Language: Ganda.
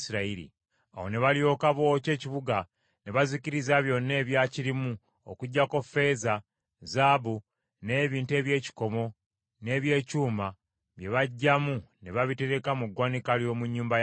Awo ne balyoka bookya ekibuga ne bazikiriza byonna ebyakirimu okuggyako ffeeza, zaabu n’ebintu eby’ekikomo n’eby’ekyuma bye baggyamu ne babitereka mu ggwanika ly’omu nnyumba ya Mukama .